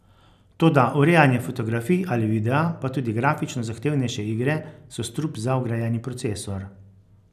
Toda urejanje fotografij ali videa, pa tudi grafično zahtevnejše igre so strup za vgrajeni procesor.